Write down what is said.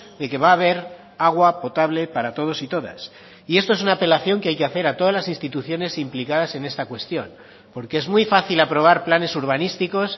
de que va a haber agua potable para todos y todas y esto es una apelación que hay que hacer a todas las instituciones implicadas en esta cuestión porque es muy fácil aprobar planes urbanísticos